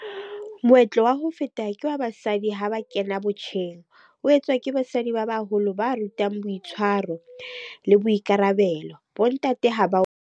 Moetlo wa ho feta ke wa basadi ha ba kena botjheng. O etswa ke basadi ba baholo ba rutang boitshwaro le boikarabelo. Bo ntate ha ba .